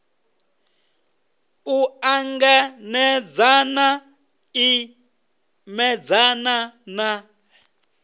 u ṱanganedzana i imedzana na